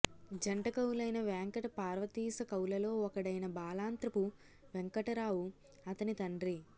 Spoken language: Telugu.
జంట కవులైన వేంకట పార్వతీశ కవులలో ఒకడైన బాలాంత్రపు వెంకటరావు అతని తండ్రి